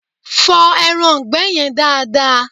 Fọ ẹraǹgbẹ́ yen dada!